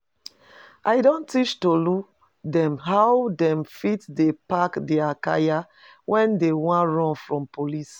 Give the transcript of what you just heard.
I don teach Tolu dem how dem fit dey pack dia kaya when dey wan run from police